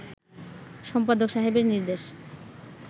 সম্পাদক সাহেবের নির্দেশ